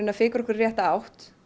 að fikra okkur í rétta átt